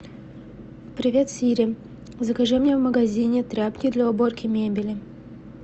привет сири закажи мне в магазине тряпки для уборки мебели